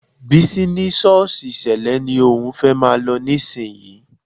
Bísí ní ṣọ́ọ̀ṣì Sẹ́lẹ̀ ni òun fẹ́ máa lọ nísìnyí